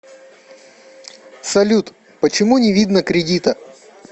салют почему не видно кредита